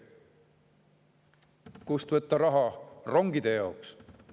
Kust võtta raha rongide jaoks?